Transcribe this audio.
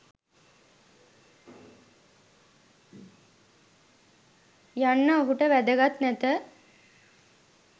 යන්න ඔහුට වැදගත් නැත.